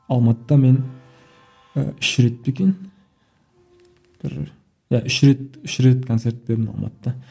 алматыда мен ііі үш рет пе екен бір иә үш рет үш рет концерт бердім алматыда